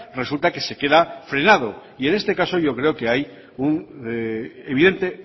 resulta que se queda frenado y en este caso yo creo que hay un evidente